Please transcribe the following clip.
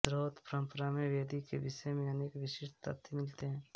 श्रौत परंपरा में वेदी के विषय में अनेक विशिष्ट तथ्य मिलते हैं